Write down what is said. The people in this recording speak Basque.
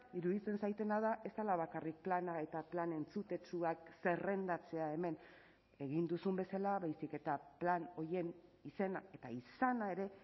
iruditzen zaidana da ez dela bakarrik plana eta plan entzutetsuak zerrendatzea hemen egin duzun bezala baizik eta plan horien izena eta izana ere